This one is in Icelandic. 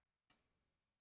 Spánn fer á EM.